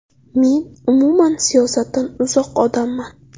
Men umuman siyosatdan uzoq odamman.